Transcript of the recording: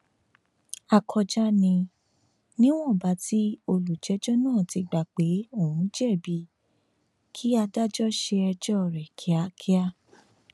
àkọjá ni níwọnba tí olùjẹjọ náà ti gbà pé òun jẹbi kí adájọ ṣe ẹjọ rẹ kíákíá